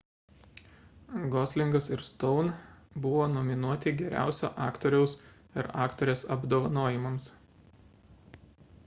goslingas ir stone buvo nominuoti geriausio aktoriaus ir aktorės apdovanojimams